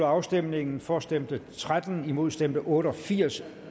afstemningen for stemte tretten imod stemte otte og firs